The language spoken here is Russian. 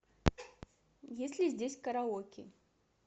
есть ли здесь караоке